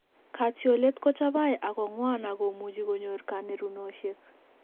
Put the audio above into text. Katyolet ko chabai ak ko ng'wan ak komuche konyor kanerunoshek